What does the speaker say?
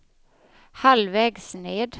halvvägs ned